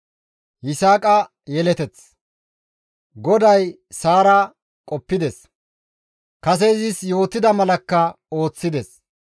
GODAY Saara qoppides; kase izis yootida malakka ooththides.